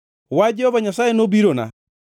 Wach Jehova Nyasaye nobirona: